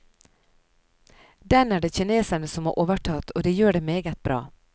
Den er det kinesere som har overtatt, og de gjør det meget bra.